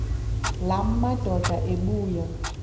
la madoda ebuya